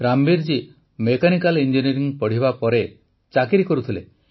Rambir ji mechanical engineering ପଢ଼ିବା ପରେ ଚାକିରି କରୁଥିଲେ